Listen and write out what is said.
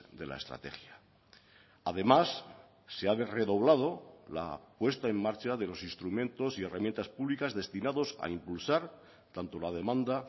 de la estrategia además se ha redoblado la puesta en marcha de los instrumentos y herramientas públicas destinados a impulsar tanto la demanda